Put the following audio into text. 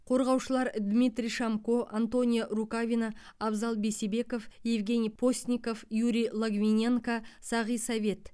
қорғаушылар дмитрий шомко антонио рукавина абзал бейсебеков евгений постников юрий логвиненко сағи совет